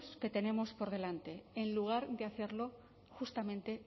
que tenemos por delante en lugar de hacerlo justamente